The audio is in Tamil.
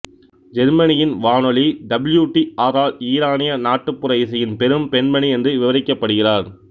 ஜெர்மனியின் வானொலி டபிள்யூ டி ஆரால் ஈரானிய நாட்டுப்புற இசையின் பெரும் பெண்மணி என்று விவரிக்கப்படுகிறார்